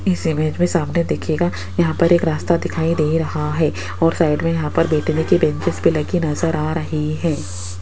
इस इमेज में सामने देखिएगा यहां पर एक रास्ता दिखाई दे रहा है और साइड में यहां पर बैठने की बेंचेज भी नजर आ रही है।